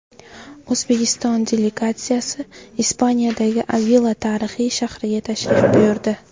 O‘zbekiston delegatsiyasi Ispaniyadagi Avila tarixiy shahriga tashrif buyurdi.